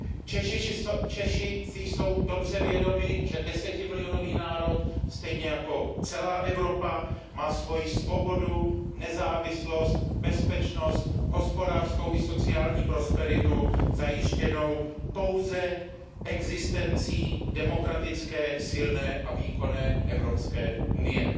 Češi si jsou dobře vědomi, že desetimilionový národ, stejně jako celá Evropa, má svoji svobodu, nezávislost, bezpečnost, hospodářskou i sociální prosperitu zajištěnou pouze existencí demokratické, silné a výkonné Evropské unie.